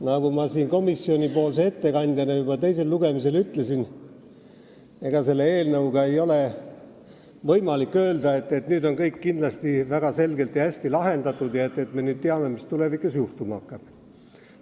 Nagu ma komisjoni ettekandjana juba teisel lugemisel ütlesin, ega selle eelnõu puhul ei ole võimalik öelda, et nüüd on kõik väga selgelt ja hästi lahendatud ja et me nüüd teame, mis tulevikus juhtuma hakkab.